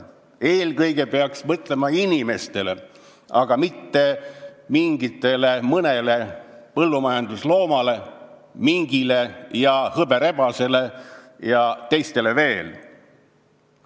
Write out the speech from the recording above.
Eelkõige peaks mõtlema inimestele, aga mitte mõnedele põllumajandusloomadele, mingile, hõberebasele ja veel mõnele teisele.